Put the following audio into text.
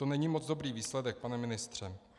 To není moc dobrý výsledek, pane ministře.